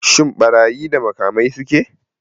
Shin ɓarayi da makamai suke?